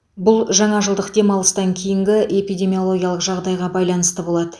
бұл жаңа жылдық демалыстан кейінгі эпидемиологиялық жағдайға байланысты болады